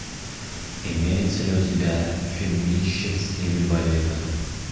имеется ли у тебя фильмище в стиле балета